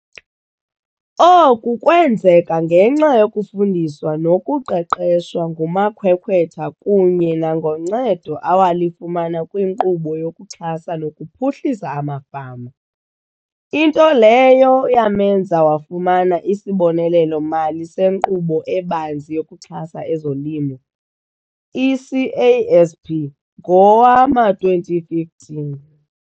Oku kwenzeka ngenxa yokufundiswa nokuqeqeshwa ngumakhwekhwetha kunye nangoncedo awalifumana kwiNkqubo yokuXhasa nokuPhuhlisa amaFama, into leyo yamenza wafumana isibonelelo-mali seNkqubo eBanzi yokuXhasa ezoLimo i-CASP ngowama-2015.